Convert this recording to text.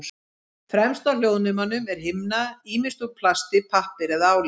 Fremst á hljóðnemum er himna, ýmist úr plasti, pappír eða áli.